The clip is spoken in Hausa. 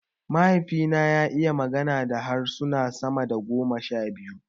Mahaifi na ya iya magana da harsuna sama da goma sha biyu